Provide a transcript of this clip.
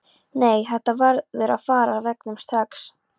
Nei, þetta verður að fara af veggnum strax!